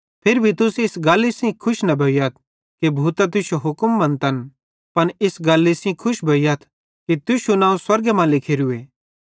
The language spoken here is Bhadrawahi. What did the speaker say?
फिरी भी तुस इस गल्ली सेइं खुशी न भोइयथ कि भूतां तुश्शो हुक्म मेनचन पन इस गल्ली सेइं खुश भोइयथ कि तुश्शू नवं स्वर्गे मां लिखोरूए